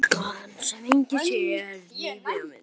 Stúlkan sem enginn sér.